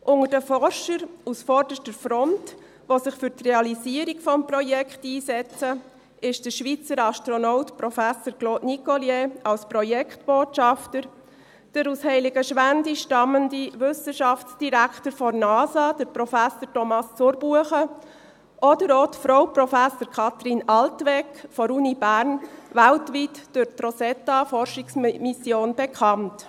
Unter den Forschern, die sich für die Realisierung des Projekts einsetzen, sind an vorderster Front der Schweizer Astronaut Prof. Claude Nicollier als Projektbotschafter, der aus Heiligenschwendi stammende Wissenschaftsdirektor der NASA, Prof. Thomas Zurbuchen, und auch Frau Prof. Kathrin Altwegg von der Uni Bern, weltweit durch die Rosetta-Forschungsmission bekannt.